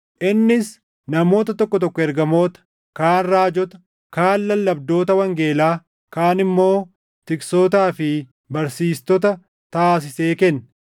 Innis namoota tokko tokko ergamoota, kaan raajota, kaan lallabdoota wangeelaa, kaan immoo tiksootaa fi barsiistota taasisee kenne;